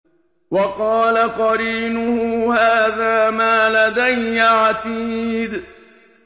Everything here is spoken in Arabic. وَقَالَ قَرِينُهُ هَٰذَا مَا لَدَيَّ عَتِيدٌ